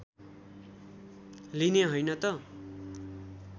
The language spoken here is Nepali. लिने हैन त